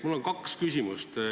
Mul on kaks küsimust.